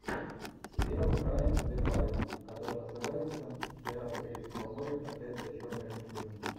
сериал брайана де пальма который называется пираты карибского моря проклятье черной жемчужины